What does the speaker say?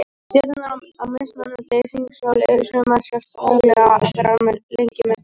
Stjörnurnar á mismunandi hringsóli, sumar sjást daglega, aðrar með lengri bilum